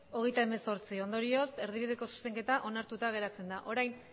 hogeita hemezortzi ondorioz erdibideko zuzenketa onartuta geratzen da orain